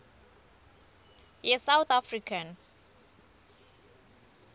ye south african